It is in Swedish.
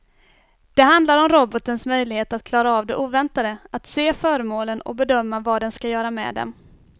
Det handlar om robotens möjlighet att klara av det oväntade, att se föremålen och bedöma vad den ska göra med dem.